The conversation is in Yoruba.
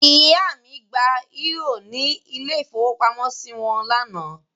Ìyá mi gba eúrò ní ilé-ìfowópamọ́sí wọn lánàá.